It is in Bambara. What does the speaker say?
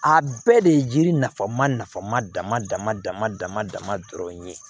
A bɛɛ de ye yiri nafa ma dama dama dama dama dama dɔrɔn ye